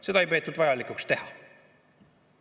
Seda ei peetud vajalikuks teha.